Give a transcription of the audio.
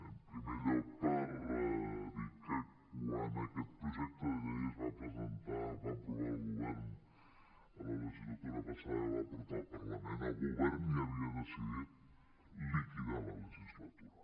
en primer lloc per dir que quan aquest projecte de llei es va presentar el va aprovar el govern a la legislatura passada i el va portar al parlament el govern ja havia decidit liquidar la legislatura